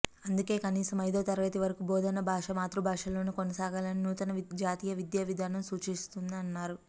అందుకే కనీసం ఐదో తరగతి వరకు బోధన భాష మాతృభాషలోనే కొనసాగాలని నూతన జాతీయ విద్యావిధానం సూచిస్తోందని అన్నారు